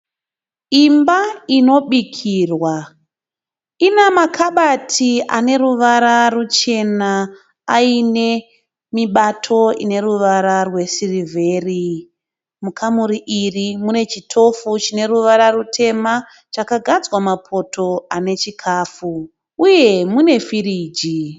Imba inobikirwa ina makabati ane ruvara ruchena ayine mibato ine ruvara rwesirivheri. Mukamuri iri mune chitofu chine ruvara rutema chakagadzwa mapoto ane chikafu, uye mune firiji.